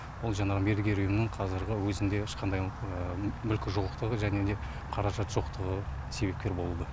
бұл жаңағы мердігер ұйымның қазіргі өзінде ешқандай мүлікі жоқтығы және де қаражат жоқтығы себепкер болды